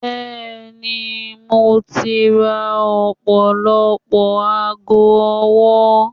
bẹẹni, mo ti ra ọpọlọpọ aago ọwọ